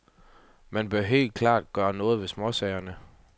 Man bør helt klart gøre noget ved småsagerne.